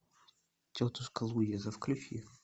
тетушка луиза включи